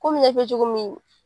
Komi i y'a f'i ye cogo min